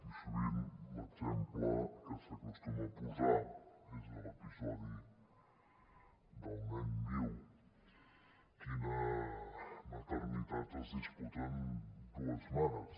i sovint l’exemple que s’acostuma a posar és de l’episodi del nen viu la maternitat del qual es disputen dues mares